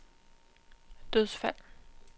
dødsfald